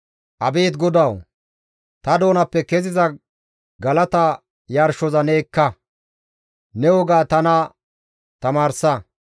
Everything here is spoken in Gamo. Abeet GODAWU! Ta doonappe keziza galata yarshoza ne ekka; ne woga tana tamaarsa.